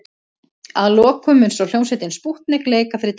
Að lokum mun svo hljómsveitin Spútnik leika fyrir dansi.